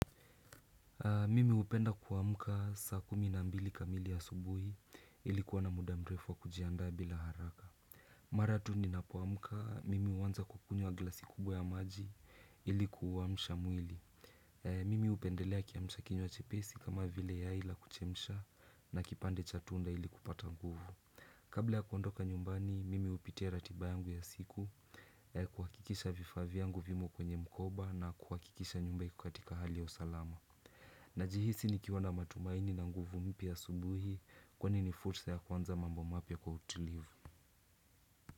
Mimi hupenda kuamka saa kumi na mbili kamili ya subuhi ili kuwa na muda mrefu wa kujiandaa bila haraka. Mara tu ninapoamka mimi huanza kwa kunywa glasi kubwa ya maji ili kuuamsha mwili. Mimi hupendelea kiamsha kinywa chepesi kama vile yai la kuchemsha na kipande cha tunda ili kupata nguvu. Kabla ya kuondoka nyumbani mimi hupitia ratiba yangu ya siku kuhakikisha vifaa vyangu vimo kwenye mkoba na kuhakikisha nyumba iko katika hali ya usalama. Najihisi nikiwa na matumaini na nguvu mpya asubuhi kwani ni fursa ya kuanza mambo mapya kwa utilivu.